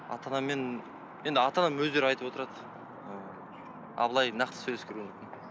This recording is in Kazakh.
ата анамен енді ата анам өздері айтып отырады ыыы ал былай нақты сөйлескен